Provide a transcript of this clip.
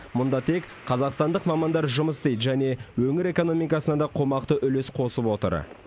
мұнда тек қазақстандық мамандар жұмыс істейді және өңір экономикасына да қомақты үлес қосып отыр